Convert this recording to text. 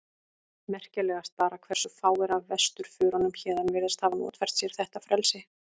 Merkilegast bara hversu fáir af vesturförunum héðan virðast hafa notfært sér þetta frelsi.